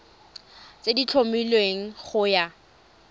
tse di tlhomilweng go ya